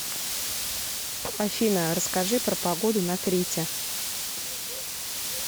афина расскажи про погоду на крите